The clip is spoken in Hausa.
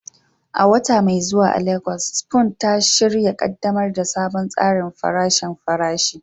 A wata mai zuwa a Legas, Spoon It An shirya ƙaddamar da sabon tsarin farashin farashi